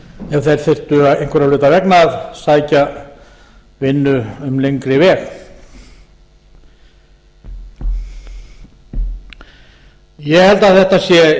ef þeir þyrftu einhverra hluta vegna að sækja vinnu um lengri veg ég held að þetta sé